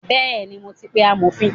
Bẹẹni, mo ti pe amofin.